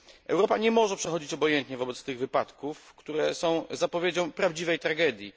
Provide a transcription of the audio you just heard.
Europa nie może przechodzić obojętnie obok tych wypadków, które są zapowiedzią prawdziwej tragedii.